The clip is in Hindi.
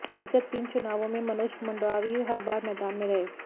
विगत तीन चुनावों में मनोज मंडावी हर बार मैदान में रहे